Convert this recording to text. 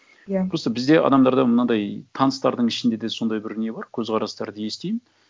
иә просто бізде адамдарда мынандай таныстардың ішінде де сондай бір не бар көзқарастарды естимін